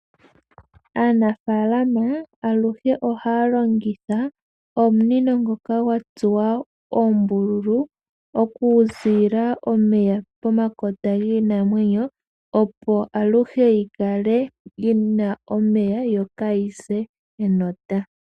Aanafalama aluhe ohaya longithwa omunino ngoka gwatsuwa oombululu, oku zila omeya pomakota giimenoo opo aluhe yi kale yina omeya yo kayise enota.